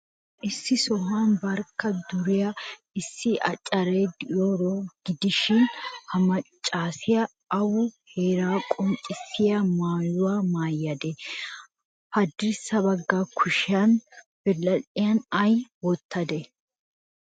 Issi sohuwan barkka duriyaa issi accaara de'iyaaro gidishin, ha maccaasiyaa awu heeraa qonccissiyaa maayuwaa maayadee? Haddirssa bagga kushiyaa biradhdhiyan ay wottadee?